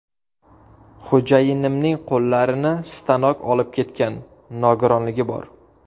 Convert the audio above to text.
Xo‘jayinimning qo‘llarini stanok olib ketgan nogironligi bor.